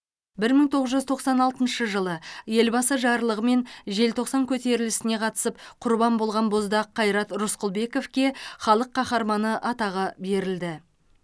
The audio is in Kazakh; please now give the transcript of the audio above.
бір мың тоғыз жүз тоқсан алтыншы жылы елбасы жарлығымен желтоқсан көтерілісіне қатысып құрбан болған боздақ қайрат рысқұлбековке халық қаһарманы атағы берілді